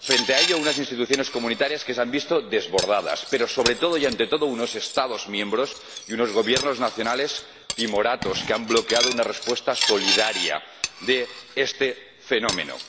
Frente a ello, unas instituciones de la Unión que se han visto desbordadas, pero, sobre todo y ante todo, unos Estados miembros y unos Gobiernos nacionales timoratos, que han bloqueado una respuesta solidaria a este fenómeno.